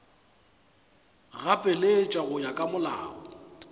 gapeletša go ya ka molao